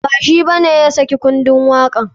Ba shi bane ya saki kundun waka.